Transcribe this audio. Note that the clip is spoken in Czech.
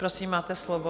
Prosím, máte slovo.